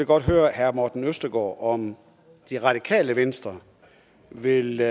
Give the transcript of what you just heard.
godt høre herre morten østergaard om det radikale venstre vil